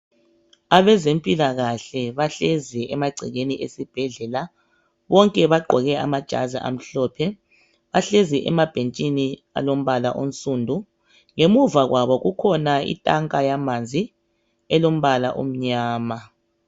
Abezempilakahle bahlezi emagcekeni esibhedlela bonke bagqoke amajazi amhlophe bahlezi emabhentshini alombala onsundu ngemuva kwabo kukhona itanka yamanzi elombala omnyama.